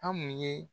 An mun ye